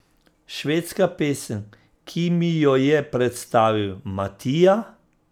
Švedska pesem, ki mi jo je predstavil Matija.